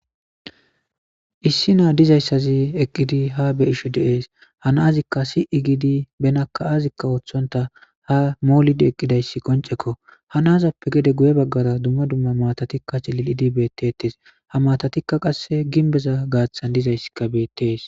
issi naa dizayssazi eqqidi ha be ishu deees hanaazikka si7i giidi benakka aazikka ooththonta ha moolidi eqqidayssi qoncekko hanazappe gede guye baggara dumma dumma maatatikka cililidi beettetes ha matatikka qasse ginbeza gaaththan dizayssikka beettees